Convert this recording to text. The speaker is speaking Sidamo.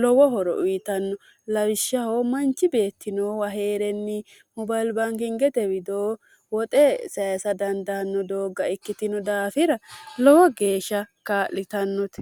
lowo horo uyitanno lawishshahoo manchi beettinoowa hee'renni mobalbaankingete widoo woxe sayisa dandaanno doogga ikkitino daafira lowo geeshsha kaa'litannote